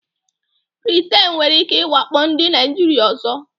Britain nwere ike iwakpo ndị Naijiria ọzọ.